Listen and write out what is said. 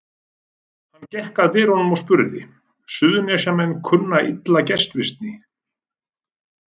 Hann gekk að dyrunum og spurði: Suðurnesjamenn kunna illa gestrisni.